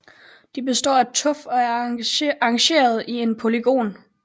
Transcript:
De består af tuf og er arrangeret i en polygon